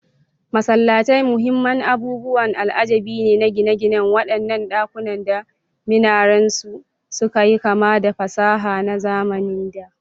Masallatai muhimman abubuwan al'ajabi ne na gine-ginen waɗanda ɗakunansu da minarensu suka yi kama da fasaha na zamanin da.